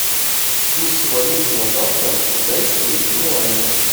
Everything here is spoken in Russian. курс валют на завтра китайские юани